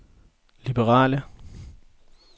liberale